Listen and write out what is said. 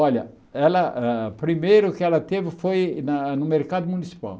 Olha ah, primeiro que ela teve foi na no mercado municipal.